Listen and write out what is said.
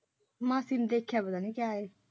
ਮਾਸੀ ਨੇ ਦੇਖਿਆ ਪਤਾ ਨਹੀਂ ਕਿਆ ਹੈ?